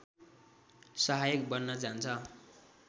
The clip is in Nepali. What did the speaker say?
सहायक बन्न जान्छ